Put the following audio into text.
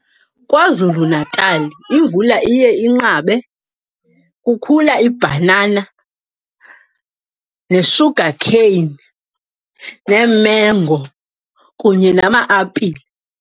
KwaZulu-Natal imvula iye inqabe. Kukhula ibhanana ne-sugar cane nee-mango kunye nama-apile.